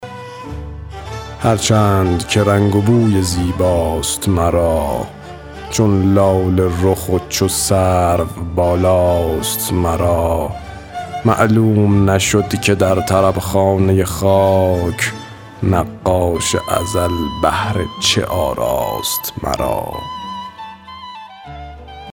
هر چند که رنگ و بوی زیباست مرا چون لاله رخ و چو سرو بالاست مرا معلوم نشد که در طرب خانه خاک نقاش ازل بهر چه آراست مرا